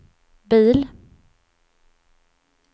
bil